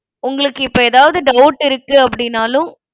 உங்களுக்கு இப்ப ஏதாவது doubt இருக்கு அப்டினாலும்